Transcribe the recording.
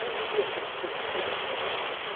Não devia crescer tanto, hein?